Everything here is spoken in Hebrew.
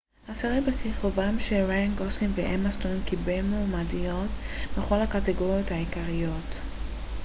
הסרט בכיכובם של ריאן גוסלינג ואמה סטון קיבל מועמדויות בכל הקטגוריות העיקריות